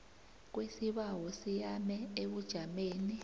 kwesibawo siyame ebujameni